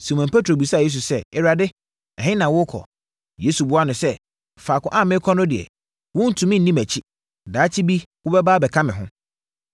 Simon Petro bisaa Yesu sɛ, “Awurade, ɛhe na worekɔ?” Yesu buaa no sɛ, “Faako a merekɔ no deɛ, worentumi nni mʼakyi; daakye bi wobɛba abɛka me ho.”